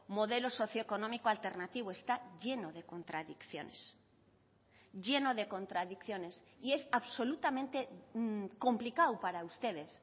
modelo socioeconómico alternativo está lleno de contradicciones lleno de contradicciones y es absolutamente complicado para ustedes